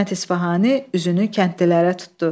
Hikmət İsfahani üzünü kəndlilərə tutdu.